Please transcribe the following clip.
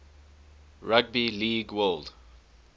rugby league world